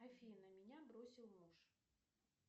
афина меня бросил муж